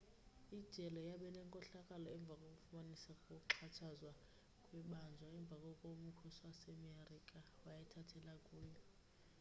ijele yabanenkohlakalo emva kokufumaniseka kokuxhatshazwa kwebanjwa emva koko umkhosi wasemerika wayithathela kuyo